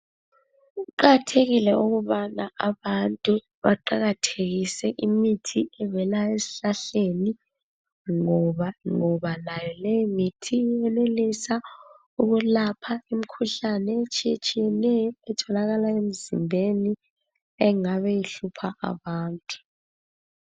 Kuqakathekile ukubana abantu beqakathekise imithi evela ezihlahleni ngoba layo leyo mithi iyanelisa ukuyelapha imikhuhlane etshiyeneyo etholakala emzimbeni engabe ihlupha abantu